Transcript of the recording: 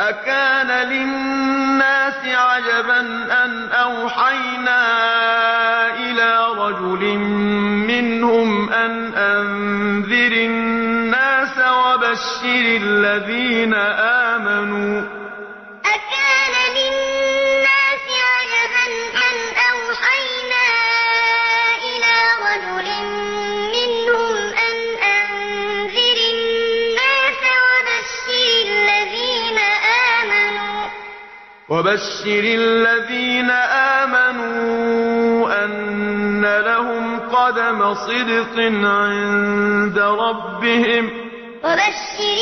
أَكَانَ لِلنَّاسِ عَجَبًا أَنْ أَوْحَيْنَا إِلَىٰ رَجُلٍ مِّنْهُمْ أَنْ أَنذِرِ النَّاسَ وَبَشِّرِ الَّذِينَ آمَنُوا أَنَّ لَهُمْ قَدَمَ صِدْقٍ عِندَ رَبِّهِمْ ۗ قَالَ